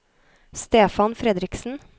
Stefan Fredriksen